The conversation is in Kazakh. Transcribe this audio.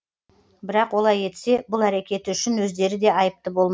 бірақ олай етсе бұл әрекеті үшін өздері де айыпты болмақ